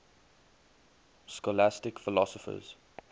scholastic philosophers